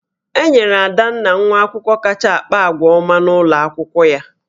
E nyere Adanna nwa akwụkwọ kacha akpa àgwà ọma n'ụlọ akwụkwọ ya